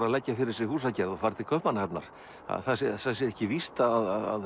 að leggja fyrir sig húsagerð og fara til Kaupmannahafnar að það sé ekki víst að